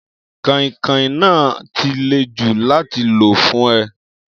Kàìn-kàin náà á ti le jù láti lò fún ẹ.